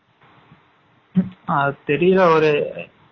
அது தெரியல ஒரு